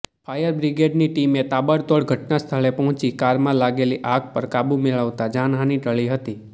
ફાયરબ્રિગેડની ટીમે તાબડતોડ ઘટનાસ્થળે પહોંચી કારમાં લાગેલી આગ પર કાબુ મેળવતા જાનહાની ટળી હતી